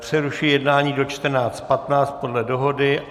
Přerušuji jednání do 14.15 podle dohody.